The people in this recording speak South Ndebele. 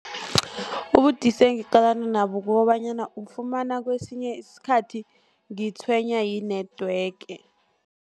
Ubudisi engiqalana nabo kukobanyana, ufumana kesinye isikhathi ngitshwenywa yi-network.